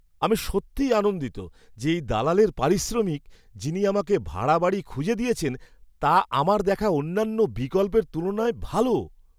আমি সত্যিই আনন্দিত যে এই দালালের পারিশ্রমিক, যিনি আমাকে ভাড়া বাড়ি খুঁজে দিয়েছেন, তা আমার দেখা অন্যান্য বিকল্পের তুলনায় ভাল।